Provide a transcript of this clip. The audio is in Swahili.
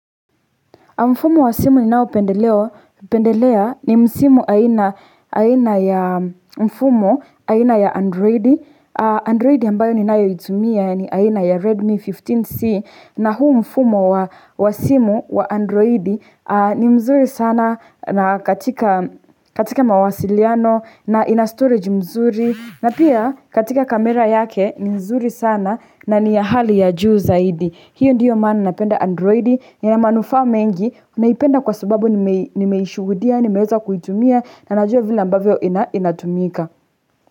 Mfumo wa simu ninao pendelea ni msimo aina ya mfumo aina ya Android. Android ambayo ninayo itumia ni aina ya Redmi fifteen C. Na huu mfumo wa simu wa Android ni mzuri sana katika mawasiliano na ina storage mzuri. Na pia katika kamera yake ni nzuri sana na niyahali ya juu zaidi. Hiyo ndiyo maana napenda androidi, na ina manufa mengi, naipenda kwa sababu nimeishuhudia, nimeweza kuitumia, na najua vile ambavyo inatumika.